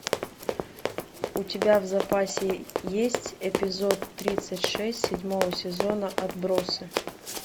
у тебя в запасе есть эпизод тридцать шесть седьмого сезона отбросы